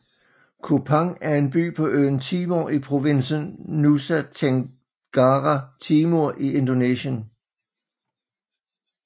Kupang er en by på øen Timor i provinsen Nusa Tenggara Timur i Indonesien